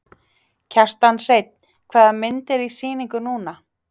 Kjartan Hreinn: Hvaða mynd er í sýningu núna?